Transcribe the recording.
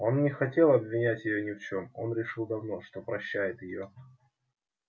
он не хотел обвинять её ни в чём он решил давно что прощает её